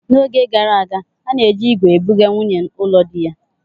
N'oge gara aga, a na-eji ígwè ebuga nwunyi ụlọ diya.